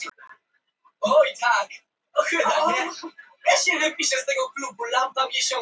Hún var góðhjörtuð og hláturmild stelpa og oft safnaðist krakkahópur saman heima hjá henni.